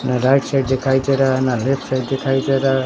ना right side दिखाई दे रहा है ना लेफ्ट साइड दिखाई देरा हे।